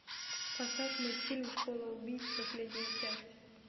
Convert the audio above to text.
поставь мультфильм школа убийц последняя часть